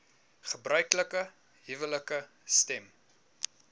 gebruiklike huwelike stem